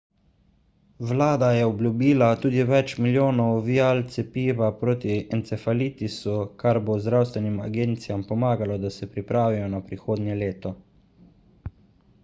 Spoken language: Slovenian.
vlada je obljubila tudi več milijonov vial cepiva proti encefalitisu kar bo zdravstvenim agencijam pomagalo da se pripravijo na prihodnje leto